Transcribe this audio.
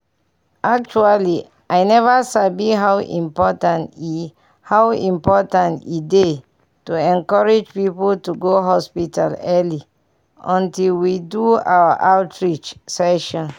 actually i never sabi how important e how important e dey to encourage people to go hospital early until we do our outreach session.